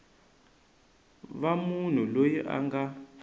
va munhu loyi a nga